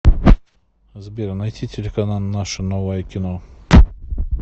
сбер найти телеканал наше новое кино